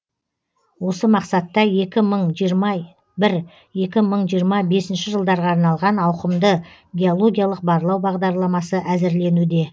осы мақсатта екі мың жиырма бір екі мың жиырма бесінші жылдарға арналған ауқымды геологиялық барлау бағдарламасы әзірленуде